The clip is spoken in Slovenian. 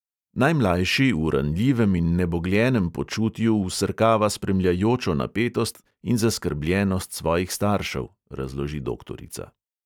"Najmlajši v ranljivem in nebogljenem počutju vsrkava spremljajočo napetost in zaskrbljenost svojih staršev," razloži doktorica.